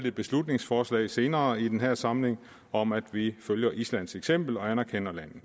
et beslutningsforslag senere i den her samling om at vi følger islands eksempel og anerkender landet